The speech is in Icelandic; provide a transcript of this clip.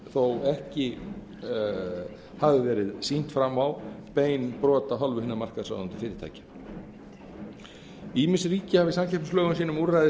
þótt ekki hafi verið sýnt fram á bein brot af hálfu hinna markaðsráðandi fyrirtækja ýmis ríki hafa í samkeppnislögum sínum úrræði